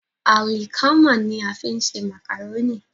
Àlìkámà ní a fi ń ṣe màkàrónì.